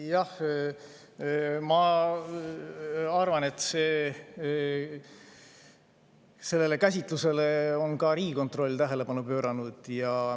Jah, ma arvan, et sellele käsitlusele on ka Riigikontroll tähelepanu pööranud.